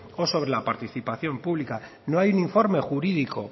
o sobre la participación pública no hay un informe jurídico